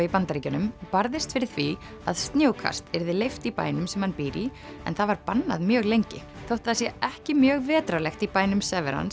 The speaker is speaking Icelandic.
í Bandaríkjunum barðist fyrir því að snjókast yrði leyft í bænum sem hann býr í en það var bannað mjög lengi þótt það sé ekki mjög vetrarlegt í bænum